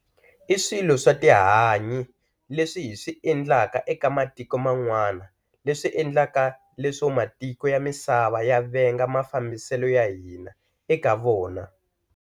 I swilo swa tihanyi leswi hi swi endleka eka matiko man'wana leswi endlaka leswo matiko ya misava ya venga mafambiselo ya hina eka vona.